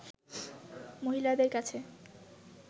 মহিলাদের কাছে